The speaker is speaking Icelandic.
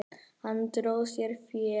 Hann dró sér fé.